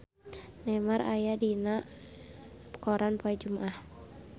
Neymar aya dina koran poe Jumaah